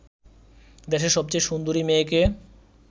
দেশের সবচেয়ে সুন্দরী মেয়েকে